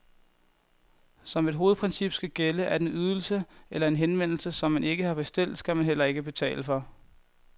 Som et hovedprincip skal gælde, at en ydelse eller en henvendelse, som man ikke har bestilt, skal man heller ikke betale for.